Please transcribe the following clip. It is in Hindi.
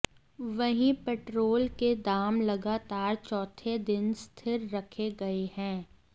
वहीं पेट्रोल के दाम लगातार चौथे दिन स्थिर रखे गए हैं